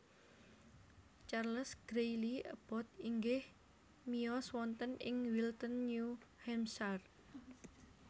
Charles Greely Abbot inggih miyos wonten ing Wilton New Hampshire